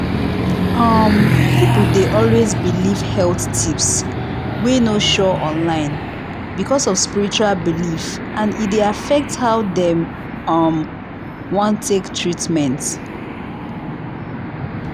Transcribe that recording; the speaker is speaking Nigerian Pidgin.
um people dey always believe health tips wey no sure online because of spiritual belief and e dey affect how dem um wan take treatment.